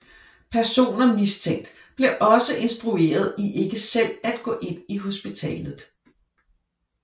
Personer mistænkt bliver også instrueret i ikke selv at gå ind i hospitalet